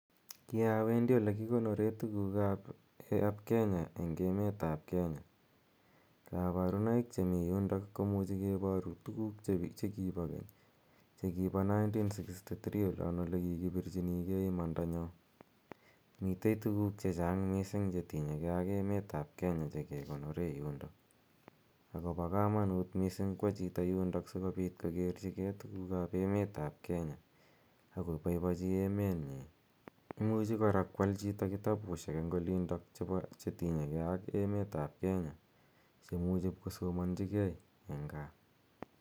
Ki awendi ole kikonore tuguuk ap Kenya eng' emet ap Kenya. Kaparunoik che yundok ko muchi kiparu tuguk che kipa keny che kipa 1963 olin ole kikipirchinigei imanda nyon. Mitei tuguk che chang' missing' che tinye gei ak emetap Kenya che kekonore yundok ako pa kamanut missing' kowa chito yundok asikokerchigei tuguk ap emet ap Kenya ak kopaipachi emet nyi. Imuchi kora koal chito kitapushek eng' yundak che pa tuguk che tinye gei ak emet ap Kenya che imuchi ipkosomanchigei eng' gaa.